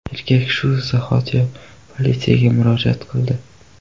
Erkak shu zahotiyoq politsiyaga murojaat qildi.